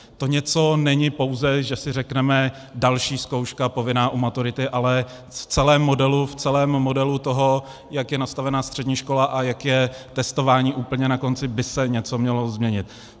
To něco není pouze, že si řekneme další zkouška, povinná u maturity, ale v celém modelu toho, jak je nastavena střední škola a jak je testování úplně na konci, by se něco mělo změnit.